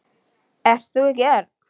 Ert þú ekki Örn?